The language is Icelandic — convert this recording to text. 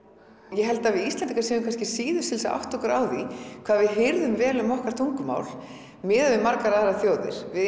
ég held að við Íslendingar séum kannski síðust til að átta okkur á því hvað við hirðum vel um okkar tungumál miðað við margar aðrar þjóðir við